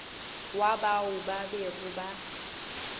wa bao ba bego ba